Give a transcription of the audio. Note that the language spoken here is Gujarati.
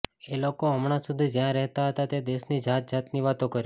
એ લોકો હમણાં સુધી જ્યાં રહેતાં હતાં તે દેશની જાત જાતની વાતો કરી